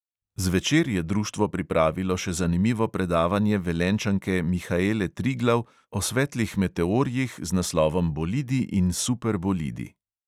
Zvečer je društvo pripravilo še zanimivo predavanje velenjčanke mihaele triglav o svetlih meteorjih z naslovom bolidi in super bolidi.